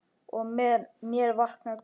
Og með mér vaknar grunur.